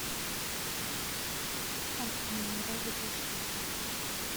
аква минерале без газа